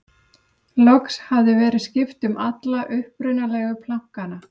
loks hafði verið skipt um alla upprunalegu plankana